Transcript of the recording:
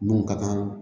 Mun ka kan